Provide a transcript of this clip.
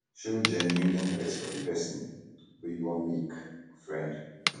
show genuine interest for di person wey you wan make friend um